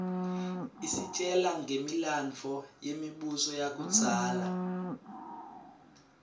isitjela ngemilandvo yemibuso yakudzala